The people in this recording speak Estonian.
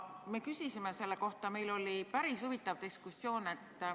Me küsisime selle kohta, meil oli päris huvitav diskussioon.